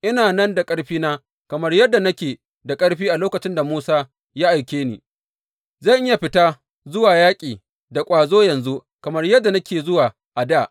Ina nan da ƙarfina kamar yadda nake da ƙarfi a lokacin da Musa ya aike ni; zan iya fita zuwa yaƙi da ƙwazo yanzu kamar yadda nake zuwa a dā.